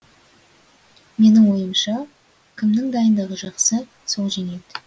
менің ойымша кімнің дайындығы жақсы сол жеңеді